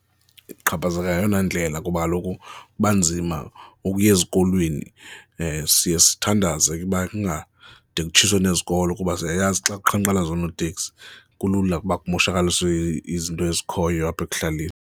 Uxhaphazeka ngeyona indlela kuba kaloku kuba nzima ukuya ezikolweni siye sithandaze ukuba kungade kutshiswe nezikolo kuba siyayazi xa beqhankqalaza oonoteksi kulula kuba kumoshakaliswe izinto ezikhoyo apha ekuhlaleni.